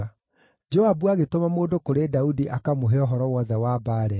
Joabu agĩtũma mũndũ kũrĩ Daudi akamũhe ũhoro wothe wa mbaara ĩyo.